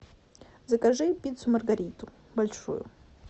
закажи пиццу маргариту большую